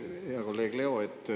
Hea kolleeg Leo!